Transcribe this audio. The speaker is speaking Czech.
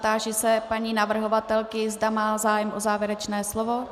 Táži se paní navrhovatelky, zda má zájem o závěrečné slovo.